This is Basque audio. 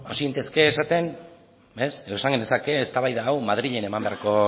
hasi gintezke esaten edo esan genezake eztabaida hau madrilen eman beharreko